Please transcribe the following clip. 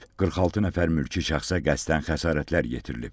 46 nəfər mülki şəxsə qəsdən xəsarətlər yetirilib.